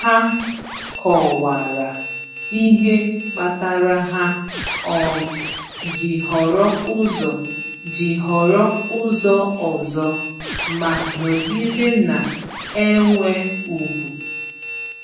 Ha kọwara ihe kpatara ha um ji họrọ ụzọ ji họrọ ụzọ ọzọ, ma nọgide na-enwe ùgwù.